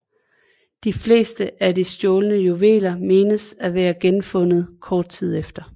De fleste af de stjålne juveler menes at være genfundet kort tid efter